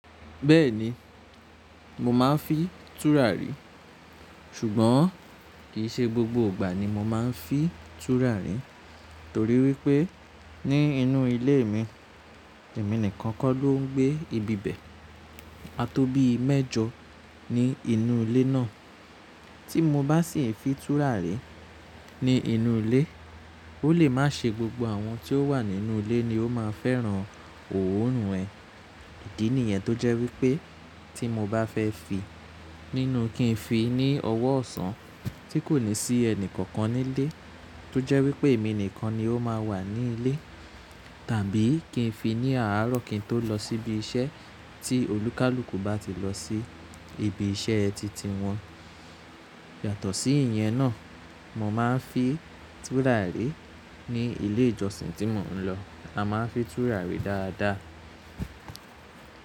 Bẹ́ẹ̀ni, mo máa ń fi túràrí. Ṣùgbọ́n kì í ṣe gbogbo ìgbà ni mo máa ń fi túràrí. Torí wípé ní inú ilé mi èmi nìkan kọ́ ló ń gbé ibibẹ̀. A tó bí i mẹ́jọ ní inú ilé náà. Tí mo bá sì ń fi túràrí ní inú ilé, ó lè má ṣe gbogbo àwọn tí ó wà nínú ilé ni ó máa fẹ́ràn òórùn ẹ. Ìdí nìyẹn tó jẹ́ wípé tí mo bá fẹ́ fi, nínú kí ń fi ní ọwọ́ ọ̀sán tí kò ní sí ẹni kankan nílé. Tó jẹ́ wípé èmi nìkan ni ó máa wà ní ilé. Tàbí kí ń fi ní àárọ̀ kín tó lọ síbi iṣẹ́ tí olúkalùkù bá ti lọ sí ibi iṣẹ́ titi wọn. Yàtọ̀ sí ìyẹn náà, mo máa ń fi túràrí ní ilé ìjọsìn tí mo ń lọ. A máa ń fi túrà rí dáadáa.